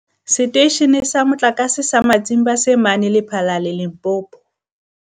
Seteishene sa Motlakase sa Matimba se mane Lephalale, Limpopo.